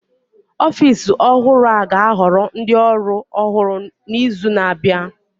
Ọfịs ọhụrụ a ga-ahoro ndị ọrụ ọhụr n'izu na-abịa